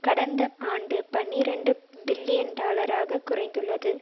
கடந்த ஆண்டு பனிரண்டு பில்லியன் டாலராக குறைந்துள்ளது